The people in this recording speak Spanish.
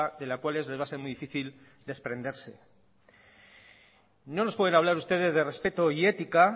de la cual les va a ser muy difícil desprenderse no nos pueden hablar ustedes de respeto y ética